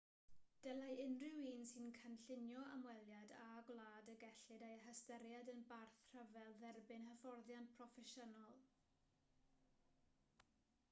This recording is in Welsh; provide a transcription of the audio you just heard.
dylai unrhyw un sy'n cynllunio ymweliad â gwlad y gellid ei hystyried yn barth rhyfel dderbyn hyfforddiant proffesiynol